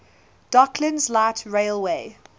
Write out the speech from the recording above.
docklands light railway